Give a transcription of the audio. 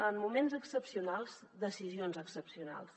en moments excepcionals decisions excepcionals